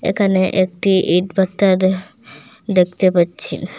এখানে একটি ইটভাটা দেহ্ দেখতে পাচ্ছি।